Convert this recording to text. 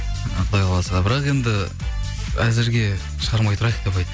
құдай қаласа бірақ енді әзірге шығармай тұрайық деп айт